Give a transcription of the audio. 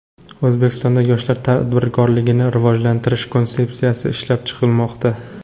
O‘zbekistonda yoshlar tadbirkorligini rivojlantirish konsepsiyasi ishlab chiqilmoqda.